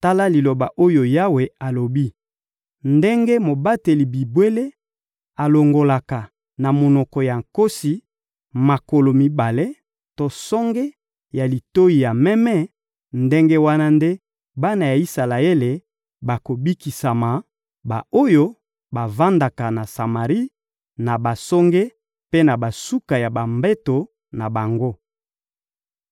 Tala liloba oyo Yawe alobi: «Ndenge mobateli bibwele alongolaka na monoko ya nkosi makolo mibale to songe ya litoyi ya meme, ndenge wana nde bana ya Isalaele bakobikisama, ba-oyo bavandaka na Samari, na basonge mpe na basuka ya bambeto na bango.»